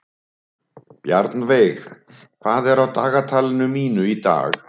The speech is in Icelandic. Bjarnveig, hvað er á dagatalinu mínu í dag?